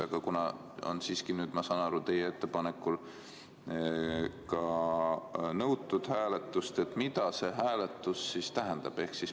Aga kuna nüüd, nagu ma aru saan, on teie ettepanekul seda hääletust ka nõutud, siis mida see hääletus tähendab?